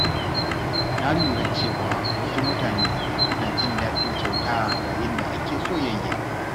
Na lura cewa wasu mutane suna jin daɗin kyauta yayin da ake soyayya.